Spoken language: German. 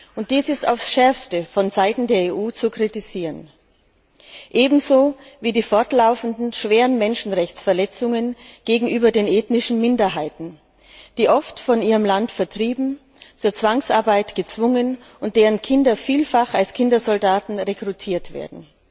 Und dies ist aufs Schärfste von Seiten der EU zu kritisieren, ebenso wie die fortlaufenden schweren Menschenrechtsverletzungen gegenüber den ethnischen Minderheiten, die oft von ihrem Land vertrieben und zur Zwangsarbeit gezwungen und deren Kinder vielfach als Kindersoldaten rekrutiert werden.